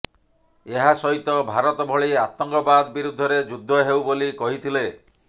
ଏହା ସହିତ ଭାରତ ଭଳି ଆତଙ୍କବାଦ ବିରୁଦ୍ଧରେ ଯୁଦ୍ଧ ହେଉ ବୋଲି କହିଥିଲେ